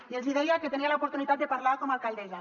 i els hi deia que tenia l’oportunitat de parlar com a alcaldessa